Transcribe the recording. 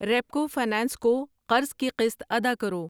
Repco finance کو قرض کی قسط ادا کرو۔